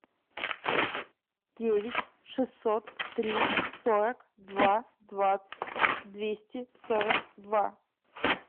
девять шестьсот три сорок два два двести сорок два